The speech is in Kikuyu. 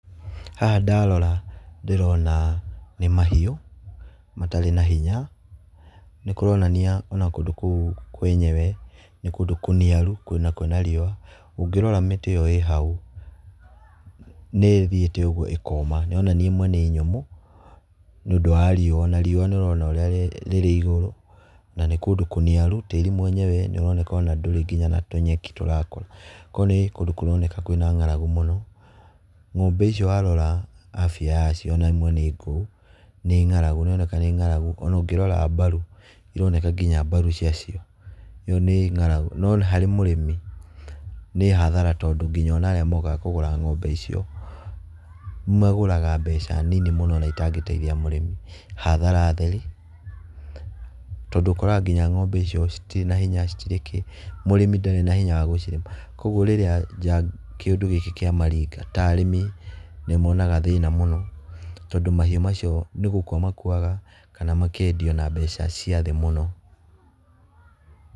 Haha ndarora ndĩrona nĩ mahiũ matarĩ na hinya, nĩ kũronania ona kũndũ kũu kwenyewe nĩ kũndũ kũniaru kũndũ kwĩ na riũa. Ũngĩrora mĩtĩ ĩyo ĩ hau nĩ ĩthiĩte ũguo ĩkoma, nĩ ũrona ĩmwe nĩ nyũmũ nĩũndũ wa riũa na riũa nĩ ũrona ũrĩa rĩrĩ igũrũ na nĩ kũndũ kũniaru. Tĩĩri mwenyewe nĩ ũroneka ona ndũrĩ nginya na tũnyeki tũrakũra, koguo nĩ kũndũ kũroneka kwĩna ng'aragu mũno. Ng'ombe icio warora abia yacio ona ĩmwe nĩ ngũu nĩ ng'aragu, nĩ ĩroneka nĩ ng'aragu ona ũngĩrora mbaru, ironeka nginya mbaru ciacio. ĩyo nĩ ng'aragu, no harĩ mũrĩmi nĩ hathara tondũ nginya arĩa mokaga kũgũra ng'ombe icio, magũraga mbeca nini mũno ona itangĩteithia mũrĩmi, hathara theri. Tondũ ũkoraga nginya ng'ombe icio citirĩ na hinya, citirĩ kĩĩ, mũrĩmi ndarĩ na hinya wa kũcirera, koguo rĩrĩa kĩũndũ gĩkĩ kĩamaringa, ta arĩmi nĩ monaga thĩna mũno tondũ mahiũ macio nĩ gũkua makuaga kana makendio na mbeca cia thĩ mũno.